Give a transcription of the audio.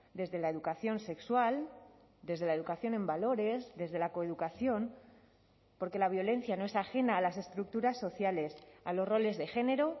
desde la educación sexual desde la educación en valores desde la coeducación porque la violencia no es ajena a las estructuras sociales a los roles de género